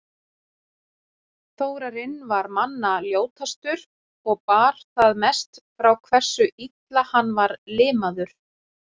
Þórarinn var manna ljótastur og bar það mest frá hversu illa hann var limaður.